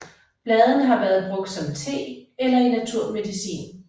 Bladene har været brugt som te eller i naturmedicin